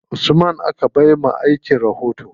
Usman aka ba wa aikin rahoto.